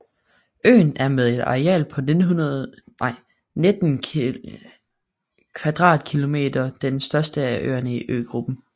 Øen er med et areal på 19 km² den største af øerne i øgruppen